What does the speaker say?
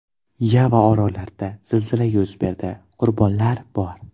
Yava orolida zilzila yuz berdi, qurbonlar bor.